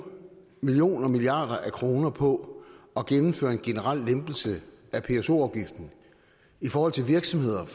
millioner og milliarder af kroner på at gennemføre en generel lempelse af pso afgiften i forhold til virksomheder